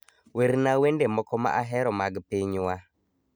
werna wende moko ma ahero mag pinywa